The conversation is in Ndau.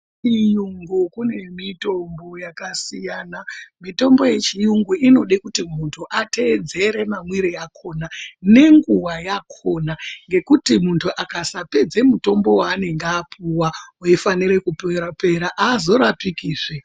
Kuchiyungu kune mitombo yakasiyana mitombo yechiyungu inode kuti muntu ateedzere mwamwire akona nenguva yakona ngekuti muntu akasapedza mutombo yaanenge apuwa weifanira kupera haazorapiki zve.